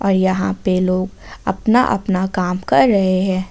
और यहां पे लोग अपना अपना काम कर रहे हैं।